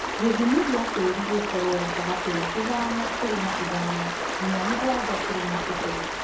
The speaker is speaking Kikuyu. Gĩthimi gĩa tĩri gĩkorwo gatagati wa ithano turuma ithano nginya mũgwanja gaturumo kĩbũgũ